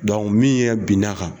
min ɲɛ bin n'a ka.